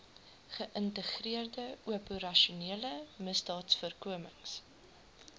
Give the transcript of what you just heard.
geïntegreerde operasionele misdaadvoorkomings